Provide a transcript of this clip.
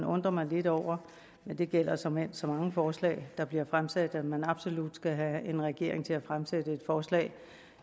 undre mig lidt over men det gælder såmænd så mange forslag der bliver fremsat at man absolut vil have en regering til at fremsætte et forslag